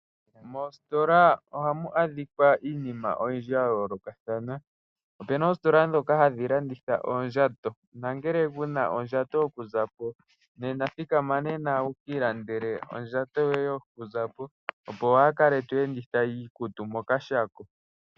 Mositola ohamu adhika iinima oyindji ya yoolokathana. Opu na oositola ndhoka hadhi landitha oondjato. Nongele ku na ondjato yokuza po thikama nena wu ka ilandele ondjato yoye yokuza po, opo waa kale to enditha iikutu mokashako.